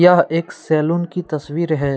यह एक सलून की तस्वीर है।